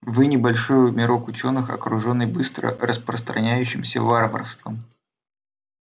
вы небольшой мирок учёных окружённый быстро распространяющимся варварством